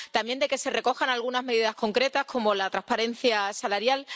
también de que se recojan algunas medidas concretas, como la transparencia salarial.